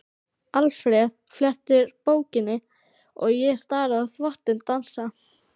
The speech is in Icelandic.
Alfreð flettir bókinni og ég stari á þvottinn dansa.